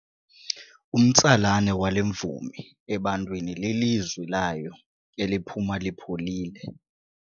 Umtsalane wale mvumi ebantwini lilizwi layo eliphuma lipholile.